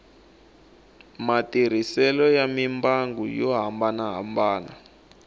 matirhiselo ya mimbangu yo hambanahambana